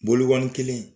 Bolo kelen in